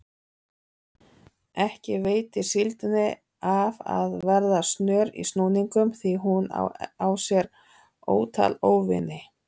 Ekki veitir síldinni af að vera snör í snúningum því hún á sér ótal óvini.